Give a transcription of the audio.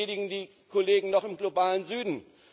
Wir schädigen die Kollegen noch im globalen Süden.